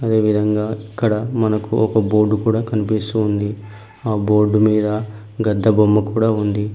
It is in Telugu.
అదే విధంగా ఇక్కడ మనకు ఒక బోర్డు కూడా కనిపిస్తూ ఉంది. ఆ బోర్డు మీద గద్దె బొమ్మ కూడా ఉంది.